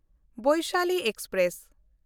Vaishali express